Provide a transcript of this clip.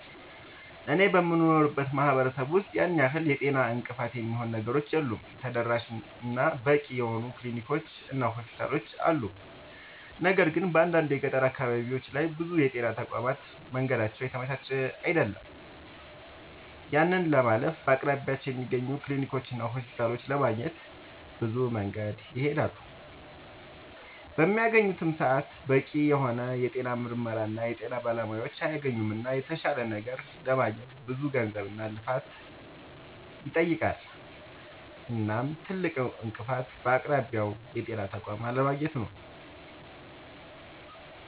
አኔ በምኖርበት ማህበረሰብ ውስጥ ያን ያህል የጤና እንቅፋት የሚሆኑ ነገሮች የሉም ተደራሽ እና በቂ የሆኑ ክሊኒኮች እና ሆስፒታሎችም አሉ። ነገር ግን በአንዳንድ የገጠር አካባቢዎች ላይ ብዙ የጤና ተቋማት መንገዳቸው የተመቻቸ አይደለም። ያንን ለማለፍ በአቅራቢያቸው በሚገኙ ክሊኒኮችና ሆስፒታሎች ለማግኘት ብዙ መንገድን ይሄዳሉ። በሚያገኙበትም ሰዓት በቂ የሆነ የጤና ምርመራና የጤና ባለሙያዎችን አያገኙምና የተሻለ ነገር ለማግኘት ብዙ ገንዘብና ብዙ ልፋትን ይጠይቃል። እናም ትልቁ እንቅፋት በአቅራቢያው የጤና ተቋም አለማግኘቱ ነዉ